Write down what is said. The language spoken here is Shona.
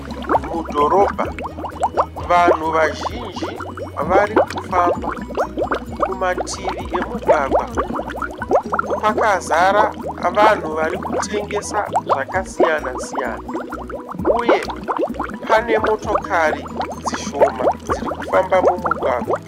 Mudhorobha vanhu vazhinji varikufamba kumativi emugwagwa kwakazara vanhu varikutengesa zvakasiyana siyana uye pane motokari dzishoma dziri kufamba mumugwagwa